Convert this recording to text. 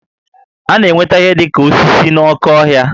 A na-enweta ihe dị ka osisi n'oké ọhịa